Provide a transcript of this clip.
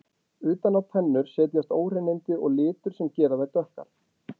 Utan á tennur setjast óhreinindi og litur sem gera þær dökkar.